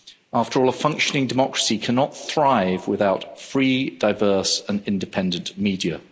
After all, a functioning democracy cannot thrive without free, diverse and independent media.